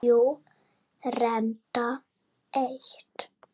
Jú, reyndar eitt.